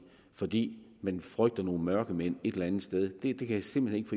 fordi man frygter nogle mørkemænd et eller andet sted det kan jeg simpelt